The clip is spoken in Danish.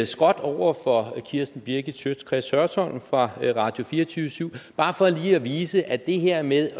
skråt over for kirsten birgit schiøtz kretz hørsholm fra radio24syv bare for lige at vise at det her med